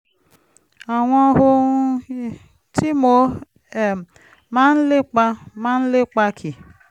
àwọn ohun tí mo um máa ń lépa máa ń lépa kì